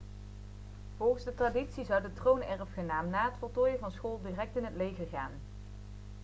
volgens de traditie zou de troonerfgenaam na het voltooien van school direct in het leger gaan